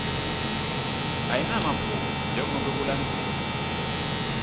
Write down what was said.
ayinamaphutsa njengobe kulandzelwe